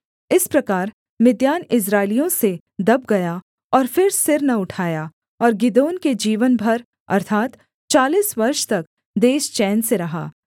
इस प्रकार मिद्यान इस्राएलियों से दब गया और फिर सिर न उठाया और गिदोन के जीवन भर अर्थात् चालीस वर्ष तक देश चैन से रहा